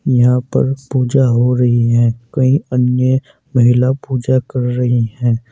यहां पर पूजा हो रही है। कई अन्य महिला पूजा कर रही हैं।